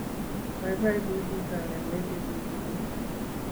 Baibai ku chito nemeche kotunis